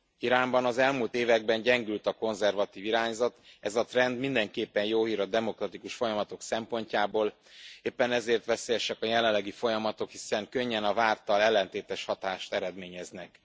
Iránban az elmúlt években gyengült a konzervatív irányzat, ez a trend mindenképpen jó hír a demokratikus folyamatok szempontjából, éppen ezért veszélyesek a jelenlegi folyamatok, hiszen könnyen a várttal ellentétes hatást eredményeznek.